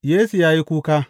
Yesu ya yi kuka.